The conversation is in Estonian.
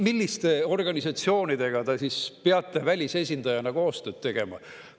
Milliste organisatsioonidega te siis peate välisesindajana koostööd tegema?